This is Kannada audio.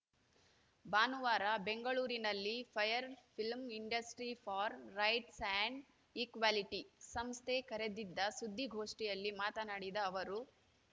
ಭಾನುವಾರ ಬೆಂಗಳೂರಿನಲ್ಲಿ fire film industry for rights and equality ಸಂಸ್ಥೆ ಕರೆದಿದ್ದ ಸುದ್ದಿಗೋಷ್ಠಿಯಲ್ಲಿ ಮಾತನಾಡಿದ ಅವರು